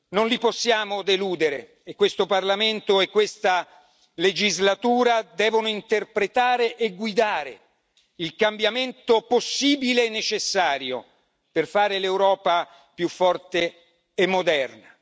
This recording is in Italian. Non li possiamo deludere e questo Parlamento e questa legislatura devono interpretare e guidare il cambiamento possibile e necessario per rendere l'Europa più forte e moderna.